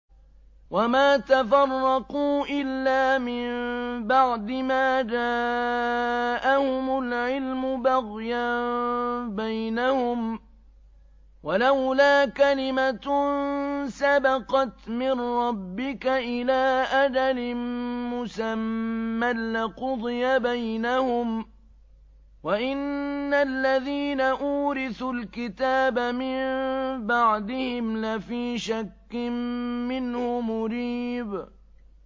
وَمَا تَفَرَّقُوا إِلَّا مِن بَعْدِ مَا جَاءَهُمُ الْعِلْمُ بَغْيًا بَيْنَهُمْ ۚ وَلَوْلَا كَلِمَةٌ سَبَقَتْ مِن رَّبِّكَ إِلَىٰ أَجَلٍ مُّسَمًّى لَّقُضِيَ بَيْنَهُمْ ۚ وَإِنَّ الَّذِينَ أُورِثُوا الْكِتَابَ مِن بَعْدِهِمْ لَفِي شَكٍّ مِّنْهُ مُرِيبٍ